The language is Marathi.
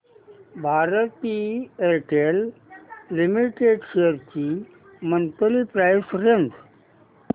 भारती एअरटेल लिमिटेड शेअर्स ची मंथली प्राइस रेंज